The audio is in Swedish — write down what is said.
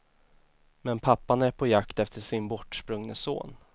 Men pappan är på jakt efter sin bortsprungne son.